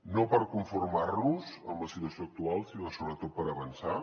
no per conformar nos amb la situació actual sinó sobretot per avançar